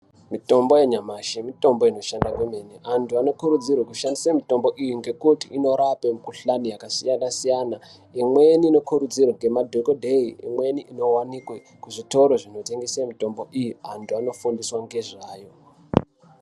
Mitombo yanyamashi mitombo inoshanda kwemene. Antu anokurudzirwe kushandise mitombo iyi ,ngekuti inorape mikhuhlani yakati kuti, yakasiyana-siyana. Imweni inokurudzirwa nemadhokodhee, Imweni inowanikwe kuzvitoro zvinotengese mitombo iyi antu anofundiswe ngezvayo.